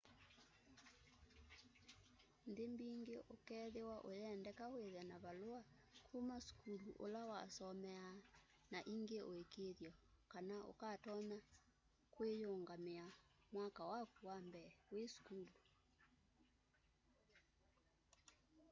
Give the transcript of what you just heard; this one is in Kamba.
nthi mbingi ũkethiwa ũyendeka withe na valua kuma sukulu ula wasomeaa na ingi ũikiithyo kana ukatonya kuiyungamia mwaka waku wa mbee wi sukulu